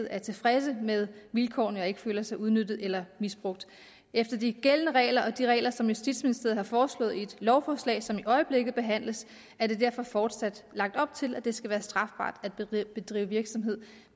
er tilfredse med vilkårene og ikke føler sig udnyttet eller misbrugt efter de gældende regler og de regler som justitsministeriet har foreslået i et lovforslag som i øjeblikket behandles er der derfor fortsat lagt op til at det skal være strafbart at drive virksomhed